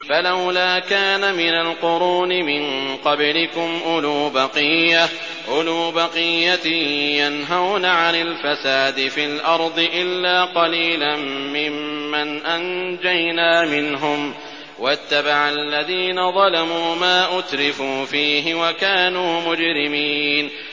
فَلَوْلَا كَانَ مِنَ الْقُرُونِ مِن قَبْلِكُمْ أُولُو بَقِيَّةٍ يَنْهَوْنَ عَنِ الْفَسَادِ فِي الْأَرْضِ إِلَّا قَلِيلًا مِّمَّنْ أَنجَيْنَا مِنْهُمْ ۗ وَاتَّبَعَ الَّذِينَ ظَلَمُوا مَا أُتْرِفُوا فِيهِ وَكَانُوا مُجْرِمِينَ